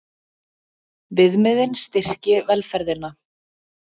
Viðmiðin styrki velferðina